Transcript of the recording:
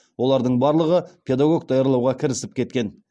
олардың барлығы педагог даярлауға кірісіп кеткен